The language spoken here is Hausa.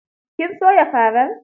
Kin soya farar?